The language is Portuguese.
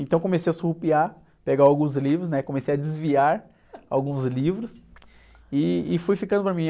Então comecei a surrupiar, pegar alguns livros, né? Comecei a desviar alguns livros e, e fui ficando para mim.